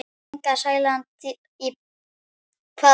Inga Sæland: Í hvaða baráttu?